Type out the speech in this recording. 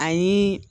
Ani